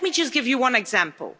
Let me just give you one example.